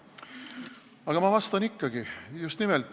Aga ma vastan ikkagi, just nimelt.